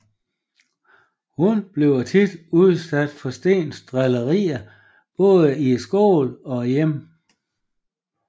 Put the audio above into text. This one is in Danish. Hun bliver tit udsat for Steens drillerier både i skolen og hjemme